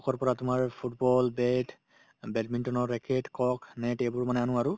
পৰা তোমাৰ football, bat অ badminton ৰ racket, cock, net এইবোৰ মানে আনো আৰু